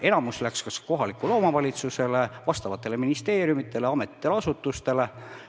Enamus läks kas kohalikule omavalitsusele, vastavatele ministeeriumidele, ametitele-asutustele.